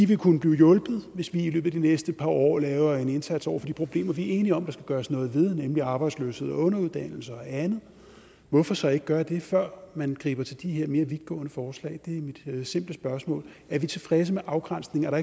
vil kunne blive hjulpet hvis vi i løbet af de næste par år laver en indsats over for de problemer vi er enige om der skal gøres noget ved nemlig arbejdsløshed underuddannelse og andet hvorfor så ikke gøre det før man griber til de her mere vidtgående forslag det er mit simple spørgsmål er vi tilfredse med afgrænsningen er